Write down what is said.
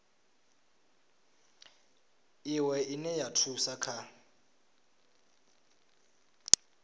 iwe ine ya thusa kha